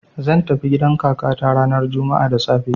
zan tafi gidan kakata ranar juma'a da safe.